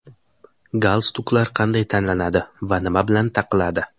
Galstuklar qanday tanlanadi va nima bilan taqiladi?.